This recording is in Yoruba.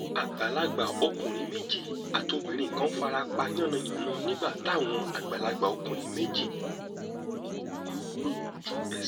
àgbàlagbà ọkùnrin méjì àti obìnrin kan fara pa yánnayànna nígbà táwọn àgbàlagbà ọkùnrin méjì kú lójú-ẹsẹ̀